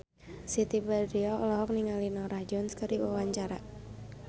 Siti Badriah olohok ningali Norah Jones keur diwawancara